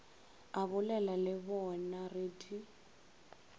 abolela le bonaa re di